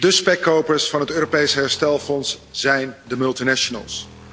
Dé spekkopers van het Europees herstelfonds zijn de multinationals.